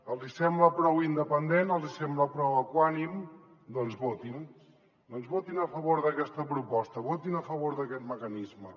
els hi sembla prou independent els hi sembla prou equànime doncs votin doncs votin a favor d’aquesta proposta votin a favor d’aquest mecanisme